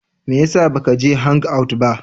Me ya sa ba ka je hangout ba?